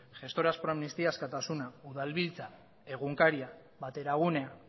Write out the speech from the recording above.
gestoras pro aministía askatasuna udalbiltza egunkaria bateragunea